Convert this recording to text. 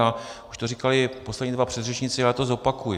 A už to říkali poslední dva předřečníci a já to zopakuji.